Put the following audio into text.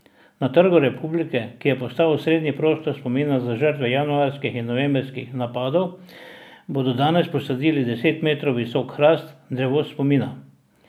Na Trgu republike, ki je postal osrednji prostor spomina za žrtve januarskih in novembrskih napadov, bodo danes posadili deset metrov visok hrast, drevo spomina.